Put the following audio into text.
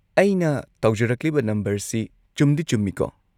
ꯑꯩꯅ ꯇꯧꯖꯔꯛꯂꯤꯕ ꯅꯝꯕꯔꯁꯤ ꯆꯨꯝꯗꯤ ꯆꯨꯝꯃꯤꯀꯣ꯫